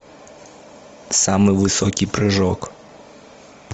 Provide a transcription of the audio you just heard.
самый высокий прыжок